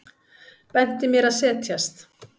Benti mér að setjast.